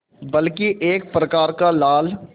बल्कि एक प्रकार का लाल